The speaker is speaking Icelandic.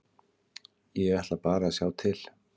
Ég ætla bara að sjá til.